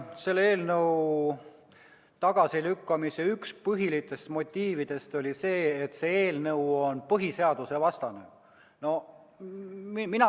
Selle eelnõu tagasilükkamise üks põhilisi motiive oli see, et see eelnõu on põhiseadusvastane.